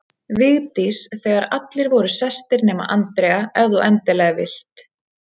Vigdís þegar allir voru sestir nema Andrea, ef þú endilega vilt